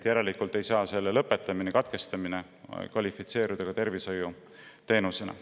Järelikult ei saa selle lõpetamine või katkestamine kvalifitseeruda tervishoiuteenuseks.